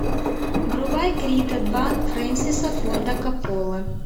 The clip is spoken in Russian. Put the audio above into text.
врубай крида два фрэнсиса форда копполы